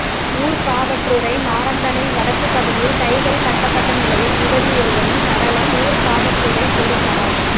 ஊர்காவற்றுறை நாரந்தனைப் வடக்குப் பகுதியில் கைகள் கட்டப்பட்ட நிலையில் யுவதி ஒருவரின் சடலம் ஊர்காவற்றுறைப் பொலிஸாரால்